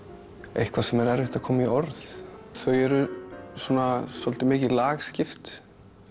eitthvað sem er erfitt að koma í orð þau eru svolítið mikið lagskipt